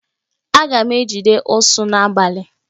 Aga m ejide ụsụ n'abalị.